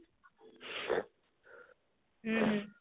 ହଁ ହଁ